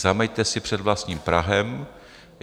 Zameťte si před vlastním prahem.